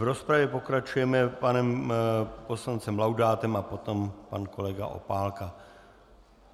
V rozpravě pokračujeme panem poslancem Laudátem a potom pan kolega Opálka.